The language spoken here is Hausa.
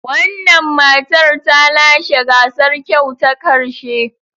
Wannan matar ta lashe gasar kyau ta karshe.